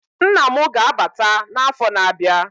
Nna mụ ga-abata na afọ na abịa